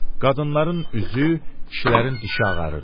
Qadınların üzü, kişilərin dişi ağarırdı.